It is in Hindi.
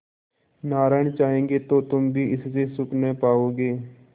नारायण चाहेंगे तो तुम भी इससे सुख न पाओगे